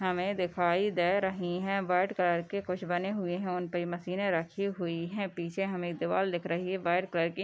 हमे दिखाई दे रही है | वाइट कलर के कुछ बने हुए हैं | उनपे मशीने रखी हुई है पीछे हमे एक दीवाल दिख रही है वाइट कलर के